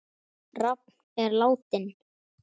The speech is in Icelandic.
Rafn er látinn.